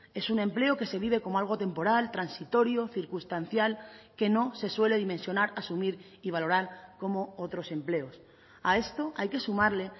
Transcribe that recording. es un empleo que se vive como algo temporal transitorio circunstancial que no se suele dimensionar asumir y valorar como otros empleos a esto hay que sumarle